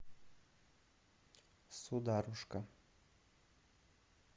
сударушка